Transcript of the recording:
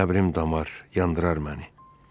Qəbrim damar yandırar məni.